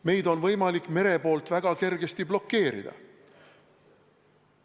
Meid on võimalik mere poolt väga kergesti blokeerida.